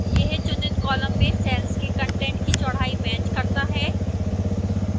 यह चुनित column में cells के कंटेंट की चौड़ाई matches करता है